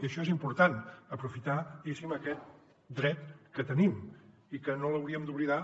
i això és important aprofitar diguéssim aquest dret que tenim i que no l’hauríem d’oblidar